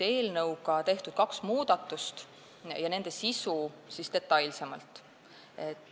Eelnõuga on tehtud kaks muudatust ja nüüd nende sisust detailsemalt.